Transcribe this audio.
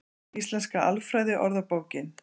Íslenska alfræði orðabókin.